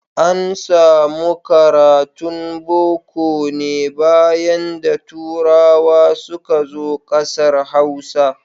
An samu karatun Boko ne bayan da turawa suka zo ƙasar Hausa.